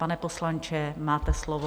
Pane poslanče, máte slovo.